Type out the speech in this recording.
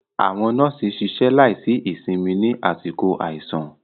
Àwọn nọ́ọ̀sì ṣiṣẹ́ láìsí ìsinmi ní àsìkò àìsàn.